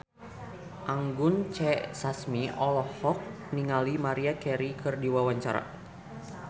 Anggun C. Sasmi olohok ningali Maria Carey keur diwawancara